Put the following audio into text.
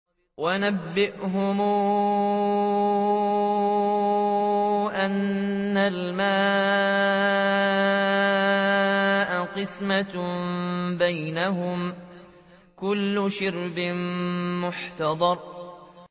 وَنَبِّئْهُمْ أَنَّ الْمَاءَ قِسْمَةٌ بَيْنَهُمْ ۖ كُلُّ شِرْبٍ مُّحْتَضَرٌ